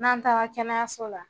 N'an taara kɛnɛyayaso la